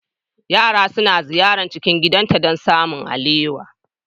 Yara sukan ziyarci gidanta don samun alewa.